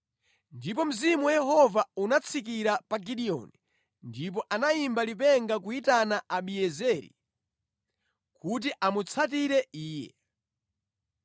Ndipo Mzimu wa Yehova unatsikira pa Gideoni, ndipo anayimba lipenga kuyitana Abiezeri kuti amutsatire iye.